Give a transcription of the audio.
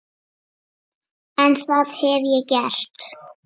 En það hef ég gert.